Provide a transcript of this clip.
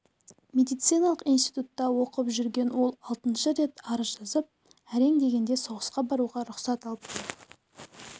медициналық институтта оқып жүрген ол алтыншы рет арыз жазып әрең дегенде соғысқа баруға рұқсат алыпты